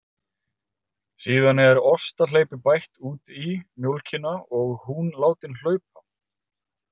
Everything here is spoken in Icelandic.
Síðan er ostahleypi bætt út í mjólkina og hún látin hlaupa.